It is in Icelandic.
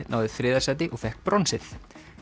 náði þriðja sæti og fékk bronsið